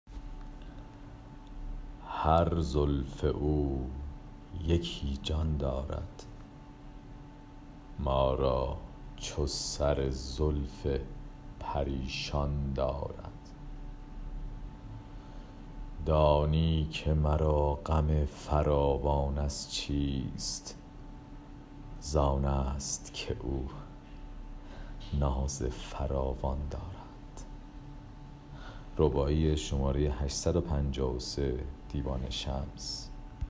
هر موی زلف او یکی جان دارد ما را چو سر زلف پریشان دارد دانی که مرا غم فراوان از چیست زانست که او ناز فراوان دارد